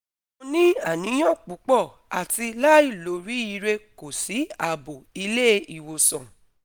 Mo ni aniyan pupo ati lailoriire ko si abo ile iwosan